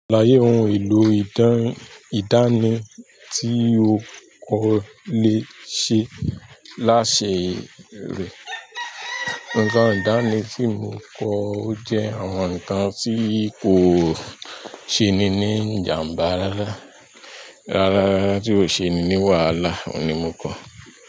Salaye ohun èlò ìdán-ìdánì tí mo kọ́ lè ṣe láṣẹ rẹ̀. Ǹnkan ìdánì tí mo kọ́ ó jẹ́ àwọn nǹkan tí kò ṣe ni ní ìjàmbá rárá. Rárá, tí ò ṣe ni ní wàhálà, òun ni mo kọ̀.